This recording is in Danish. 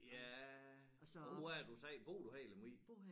Ja hvor er det du sagde bor du her i Lemvig?